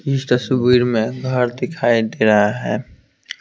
इस तस्वीर में घर दिखाई दे रहा है।